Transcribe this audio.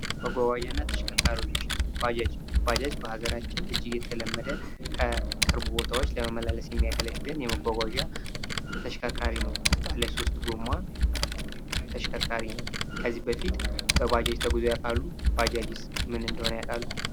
መጓጓዣ እና ተሽከርካሪዎች፦ ባጃጅ፦ ባጃጃ በሀገራችን እጂግ የተለመደ ከቅርብ ቦታዎች ለመመላለስ የሚያገልገግል የመጓጓዣ ተሽከርካሪ ነው። ባለ ሶስት ጎማ ተሸከርካሪ ነው ከዚህ በፊት በባጃጅ ተጉዘው ያቃሉ? ባጃጅስ ምን እንደሆነ ያቃሉ